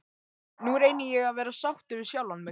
Nú reyni ég að vera sáttur við sjálfan mig.